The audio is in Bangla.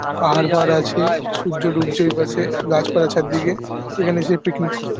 পাহাড় ফাহাড় আছে সূর্য ডুবছে ওইপাশেগাছপালা চারদিকে এখানে এসে পিকনিক করতে--